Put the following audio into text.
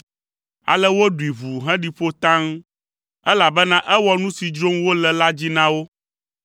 Ale woɖui ʋuu heɖi ƒo taŋ, elabena ewɔ nu si dzrom wole la dzi na wo.